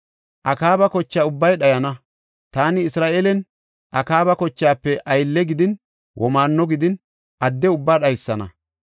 Akaaba kocha ubbay dhayana; taani Isra7eelen Akaaba kochaafe aylle gidin, womaanno gidin, adde ubbaa dhaysana.